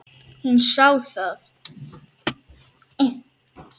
Hún sá það.